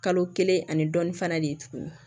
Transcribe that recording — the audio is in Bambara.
Kalo kelen ani dɔɔni fana de ye tuguni